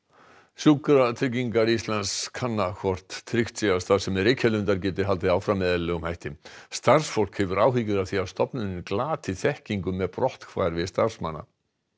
sjúkratryggingar Íslands kanna hvort tryggt sé að starfsemi Reykjalundar geti haldið áfram með eðlilegum hætti starfsfólk hefur áhyggjur af því að stofnunin glati þekkingu með brotthvarfi starfsmanna